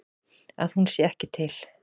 Að hún sé ekki til.